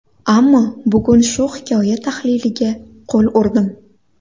Ammo bugun shu hikoya tahliliga qo‘l urdim.